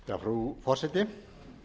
frú forseti